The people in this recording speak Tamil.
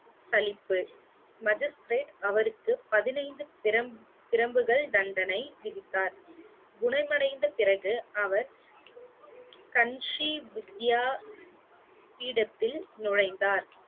சலிப்பு magistrate அவருக்கு பதினைந்து பிரம்~ பிரம்புகள் தண்டனை விதித்தார் குணமடைந்த பிறகு அவர் கன்ஷி வித்யா பீடத்தில் நுழைந்தார்